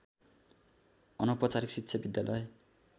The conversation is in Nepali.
अनौपचारिक शिक्षा विद्यालय